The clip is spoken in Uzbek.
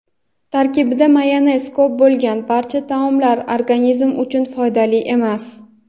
tarkibida mayonez ko‘p bo‘lgan barcha taomlar organizm uchun foydali emas.